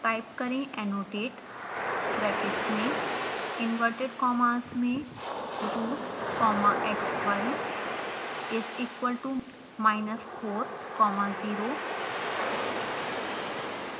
type करें annotate brackets में inverted commas में root comma xy is equal to minus 4 comma 0